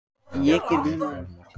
Raforka er eitt form orku.